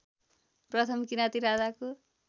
प्रथम किराँती राजाको